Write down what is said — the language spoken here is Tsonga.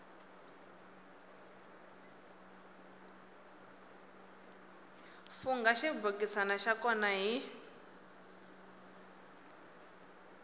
fungha xibokisana xa kona hi